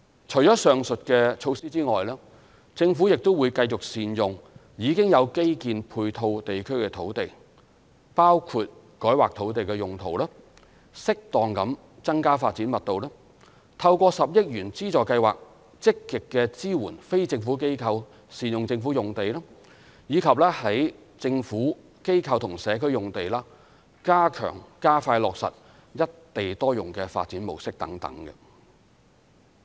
除上述措施外，政府亦會繼續善用已經有基建配套地區的土地，包括改劃土地用途、適當地增加發展密度、透過10億元資助計劃積極支援非政府機構善用政府用地，以及在"政府、機構或社區"用地加強、加快落實"一地多用"的發展模式等。